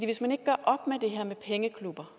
hvis man ikke gør op med det her med pengeklubber